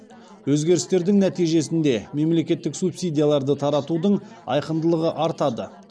өзгерістердің нәтижесінде мемлекеттік субсидияларды таратудың айқындылығы артады